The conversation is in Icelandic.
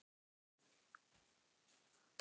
Lillý Valgerður: Huga þá að hverju?